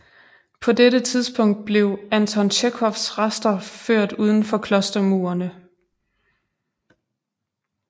På dette tidspunkt blev Anton Tjekhovs rester ført uden for klostermurene